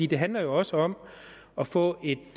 det handler også om at få et